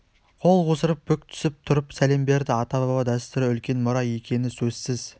қол қусырып бүк түсіп тұрып сәлем берді ата баба дәстүрі үлкен мұра екені сөзсіз